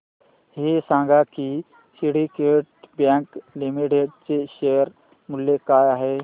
हे सांगा की सिंडीकेट बँक लिमिटेड चे शेअर मूल्य काय आहे